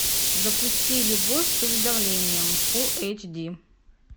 запусти любовь с уведомлением фулл эйч ди